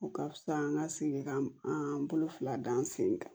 O ka fisa an ka segin ka an bolo fila da an sen kan